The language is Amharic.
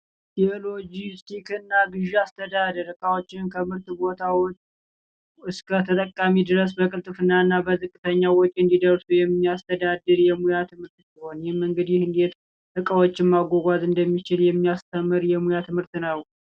የሎጂስቲክስ እና ግዢ አስተዳደር እቃዎችን ከምርት ቦታዎች እስከ ተጠቃሚ ድረስ በቅልጥፍና እና በዝቅተኛ ወጪ እንዲደርሱ የሚያስተዳድር የሙያ ትምህርት ሲሆን ይህም እንግዲህ እንዴት እቃዎችን ማጓጓዣ እንደሚቻል የሚያስተምር የሙያ ትምህርት ነው።